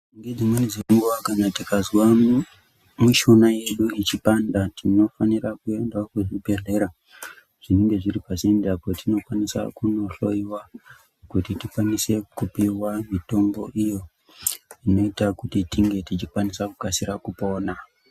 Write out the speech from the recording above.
Ngedzimweni dzenguwa kana tikazwa mishuna yedu yechipanda tinofanira kuendao kuzvibhedhlera zvinenge zviri pasinde petipokwanisa kunohloyiwa kuti tikwanise kupiwa mitombo iyo inoita kuti tinge tichikasira kupona.